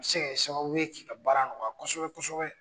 A bi se ka kɛ sababu ye k'i ka baara nɔgɔya kosɛbɛ kosɛbɛ